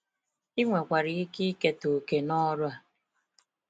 Ị nwekwara ike ikete òkè n'ọrụ a.